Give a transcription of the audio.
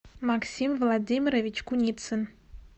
максим владимирович куницын